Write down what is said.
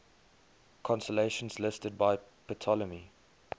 constellations listed by ptolemy